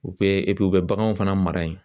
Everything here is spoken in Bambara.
U bɛ u bɛ baganw fana mara yen